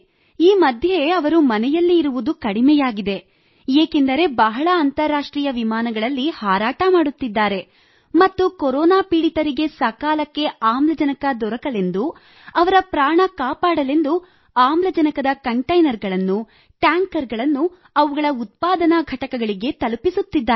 ಈ ಮಧ್ಯೆ ಅವರು ಮನೆಯಲ್ಲಿ ಇರುವುದು ಕಡಿಮೆಯಾಗಿದೆ ಏಕೆಂದರೆ ಬಹಳ ಅಂತಾರಾಷ್ಟ್ರೀಯ ವಿಮಾನಗಳಲ್ಲಿ ಹಾರಾಟ ಮಾಡುತ್ತಿದ್ದಾರೆ ಮತ್ತು ಕೊರೊನಾ ಪೀಡಿತರಿಗೆ ಸಕಾಲಕ್ಕೆ ಆಮ್ಲಜನಕ ದೊರೆಯಲೆಂದು ಅವರ ಪ್ರಾಣ ಕಾಪಾಡಲೆಂದು ಆಮ್ಲಜನಕದ ಕಂಟೈನರ್ಗಳನ್ನು ಟ್ಯಾಂಕರ್ ಗಳನ್ನು ಅವುಗಳ ಉತ್ಪಾದನಾ ಘಟಕಗಳಿಗೆ ತಲುಪಿಸುತ್ತಿದ್ದಾರೆ